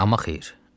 Amma xeyr.